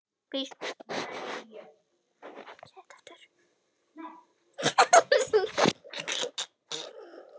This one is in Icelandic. Vonandi sem fyrst.